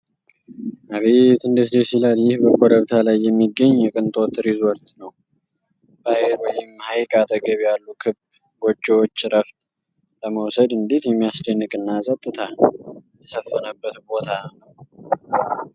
አቤት እንዴት ደስ ይላል! ይህ በኮረብታ ላይ የሚገኝ የቅንጦት ሪዞርት ነው! ባህር ወይም ሀይቅ አጠገብ ያሉ ክብ ጎጆዎች! እረፍት ለመውሰድ እንዴት የሚያስደንቅ እና ፀጥታ የሰፈነበት ቦታ ነው!